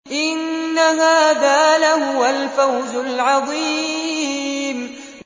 إِنَّ هَٰذَا لَهُوَ الْفَوْزُ الْعَظِيمُ